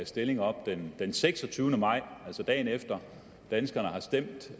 stilling op den seksogtyvende maj altså dagen efter danskerne har stemt